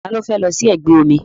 Ta ló fẹ́ lọ sí ẹgbẹ́ omi?